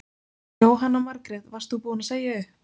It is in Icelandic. Jóhanna Margrét: Varst þú búin að segja upp?